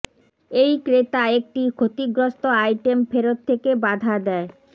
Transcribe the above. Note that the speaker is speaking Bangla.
এই ক্রেতা একটি ক্ষতিগ্রস্ত আইটেম ফেরত থেকে বাধা দেয়